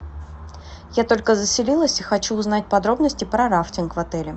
я только заселилась и хочу узнать подробности про рафтинг в отеле